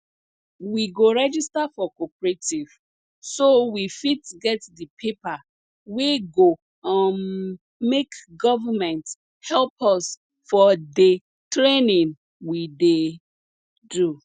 we go register for cooperative so we fit get the paper wey go um make government help us for the training we dey do